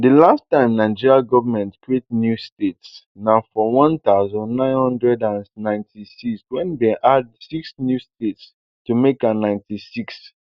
di last time nigeria goment create new states na for one thousand, nine hundred and ninety-six wen dem add six new states to make am thirty-six